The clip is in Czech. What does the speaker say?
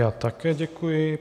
Já také děkuji.